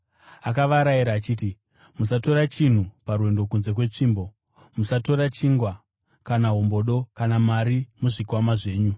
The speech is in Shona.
Akavarayira achiti, “Musatora chinhu parwendo kunze kwetsvimbo; musatora chingwa, kana hombodo, kana mari muzvikwama zvenyu.